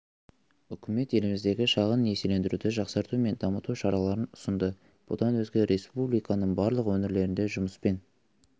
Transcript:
үкімет еліміздегі шағын несиелендіруді жақсарту мен дамыту шараларын ұсынды бұдан өзге республиканың барлық өңірлерінде жұмыспен